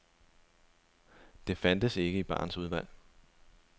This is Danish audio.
Det fandtes ikke i barens udvalg.